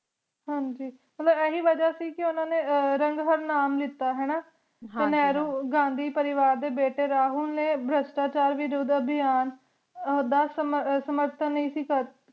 ਹਾਂਜੀ ਮਤਲਬ ਅਹਿ ਵਾਜਾ ਸੇ ਕੀ ਓਹਨਾ ਨੀ ਰਾਨ੍ਹਾਰ੍ਨਾਮ ਦਿਤਾ ਟੀ ਨੇਹ੍ਰੋ ਗਾਂਧੀ ਪਰਿਵਾਰ ਦੇ ਬੇਟੀ ਰਾਹੁਲ ਨੀ ਭਾਰ੍ਸ਼੍ਤਾਚਾਰ ਵਿਰੋਧੀ ਦਾ ਦਿਹਾਂ ਸ਼ਾਮਾਰ੍ਧਨ